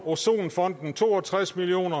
ozonfonden to og tres million